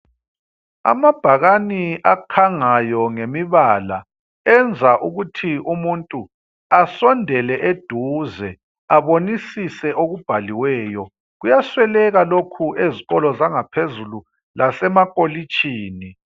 Amabhakani akhangayo ngemibala enza ukuthi umuntu asondele eduze abonisise okubhaliweyo. Kuyasweleka lokhu ezikolo zangaphezulu lasemakolitshini.